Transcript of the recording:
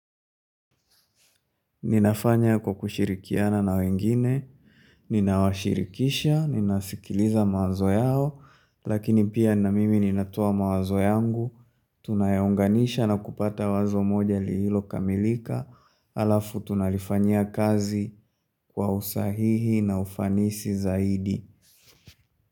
Ninafanya kwa kushirikiana na wengine, ninawashirikisha, ninasikiliza mawazo yao, lakini pia na mimi ninatoa mawazo yangu, tunayaunganisha na kupata wazo moja liilokamilika, alafu tunalifanya kazi kwa usahihi na ufanisi zaidi.